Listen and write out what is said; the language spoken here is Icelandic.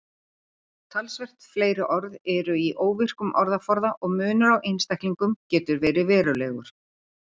Talsvert fleiri orð eru í óvirkum orðaforða og munur á einstaklingum getur verið verulegur.